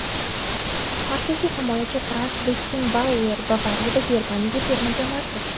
markaziy himoyachi Frans Bekkenbauer ("Bavariya" va Germaniya terma jamoasi);.